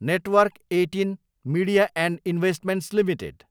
network eighteen media and investments limited